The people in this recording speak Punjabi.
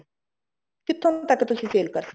ਕਿੱਥੋਂ ਤੱਕ ਤੁਸੀਂ sale ਕਰ ਸਕਦੇ